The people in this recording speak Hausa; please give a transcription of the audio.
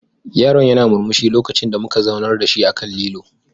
Yaron yana murmushi lokacin da muka zaunar da shi akan lilo.